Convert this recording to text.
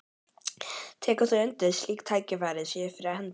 Tekur þú undir að slík tækifæri séu fyrir hendi?